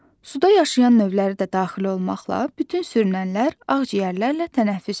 Suda yaşayan növləri də daxil olmaqla, bütün sürünənlər ağciyərlərlə tənəffüs edir.